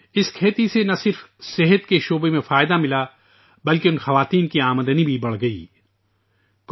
اس کاشتکاری سے نہ صرف صحت کے شعبے میں فائدہ ہوا بلکہ ان خواتین کی آمدنی میں بھی اضافہ ہوا